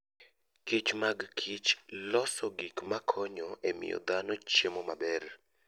Kich mag Kich loso gik makonyo e miyo dhano chiemo maber.